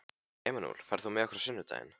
Emanúel, ferð þú með okkur á sunnudaginn?